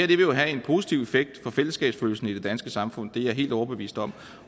jo have en positiv effekt for fællesskabsfølelsen i det danske samfund det er jeg helt overbevist om